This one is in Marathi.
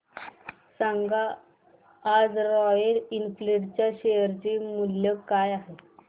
सांगा आज रॉयल एनफील्ड च्या शेअर चे मूल्य काय आहे